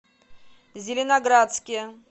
зеленоградске